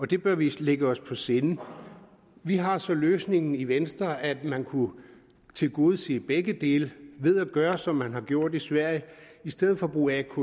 det bør vi lægge os på sinde vi har så den løsning i venstre at man kunne tilgodese begge dele ved at gøre som man har gjort i sverige i stedet for at bruge atk